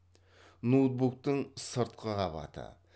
ноутбуктың сыртқы қабаты